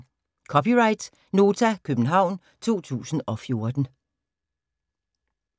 (c) Nota, København 2014